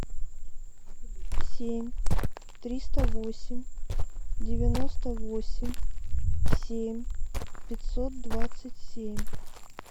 семь триста восемь девяносто восемь семь пятьсот двадцать семь